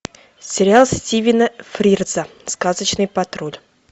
сериал стивена фрирза сказочный патруль